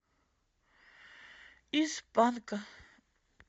из панка